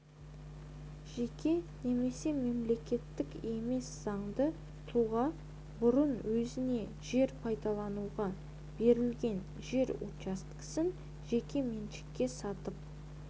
жеке немесе мемлекеттік емес заңды тұлға бұрын өзіне жер пайдалануға берілген жер учаскесін жеке меншікке сатып